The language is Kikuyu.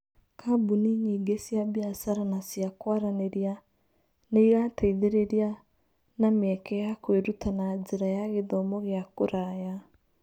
Kambuni nyingĩ cia biacara na cia kwaranĩria nĩ irateithĩrĩria na mĩeke ya kwĩruta na njĩra ya gĩthomo gĩa kũraya.